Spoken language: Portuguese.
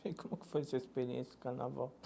Como que foi a sua experiência do Carnaval?